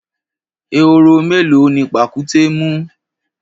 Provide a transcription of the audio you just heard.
Ehoro mélòó ni pàkúté mú?